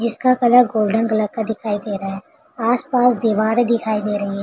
जिसका colour golden colour का दिखाई दे रहा है आसपास दिवारें दिखाई दे रही --